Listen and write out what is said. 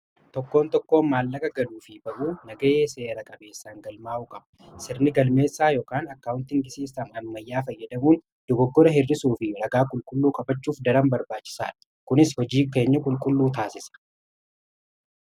tokkoon tokkoo maallaqa galuu fi ba'uu nagaaye seeraa qabeessaan galmaa'u qaba sirnii galmeessaa yookaan akkaawuntiin gisiisaan ammayyaa fayyadamuun dogoggora hirrisuu fi ragaa qulqulluu kabachuuf daraan barbaachisaadha kunis hojii keenya qulqulluu taasisa